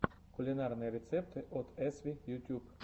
кулинарные рецепты от эсви ютюб